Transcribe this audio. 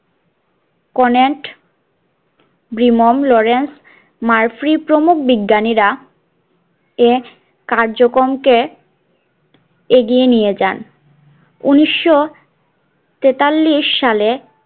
কর্ণয়েন্ট ব্রিমম লরেন্স মারফররীই প্রমুখ বিজ্ঞানীরা এ কার্যকম কে এগিয়ে নিয়ে যান উনিশশো তেতাল্লিশ সালে